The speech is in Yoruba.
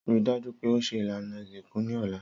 Rii daju pe o ṣe ilana isinku ni ọla.